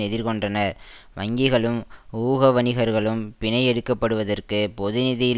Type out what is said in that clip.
எதிர் கொண்டனர் வங்கிகளும் ஊகவணிகர்களும் பிணை எடுக்கப்படுவதற்கு பொது நிதியில்